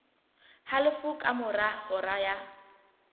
halofo ka mora hora ya